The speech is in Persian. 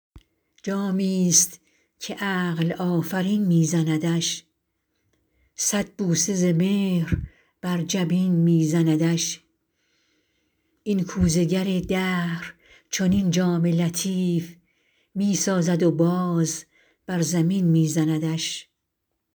جامی است که عقل آفرین می زندش صد بوسه ز مهر بر جبین می زندش این کوزه گر دهر چنین جام لطیف می سازد و باز بر زمین می زندش